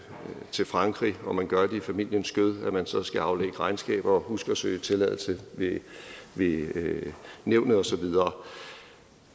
til frankrig og man gør det i familiens skød at man så skal aflægge regnskab og huske at søge tilladelse ved nævnet og så videre